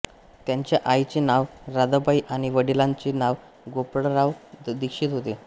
त्यांच्या आईचे नाव राधाबाई आणि वडलांचे नाव गोपाळराव दीक्षित होते